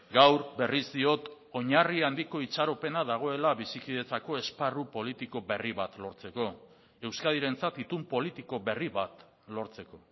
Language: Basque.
gaur berriz diot oinarri handiko itxaropena dagoela bizikidetzako esparru politiko berri bat lortzeko euskadirentzat itun politiko berri bat lortzeko